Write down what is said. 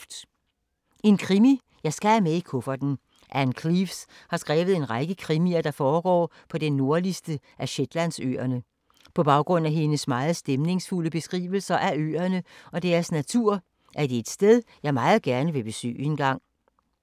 En krimi skal jeg altid have med i kufferten. Ann Cleeves har skrevet en række krimier, der foregår på den nordligste af Shetlandsøerne. På baggrund af hendes meget stemningsfulde beskrivelser af øerne og deres natur, er det et sted jeg meget gerne vil besøge engang.